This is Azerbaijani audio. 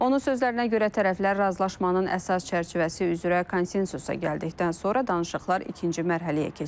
Onun sözlərinə görə tərəflər razılaşmanın əsas çərçivəsi üzrə konsensusa gəldikdən sonra danışıqlar ikinci mərhələyə keçəcək.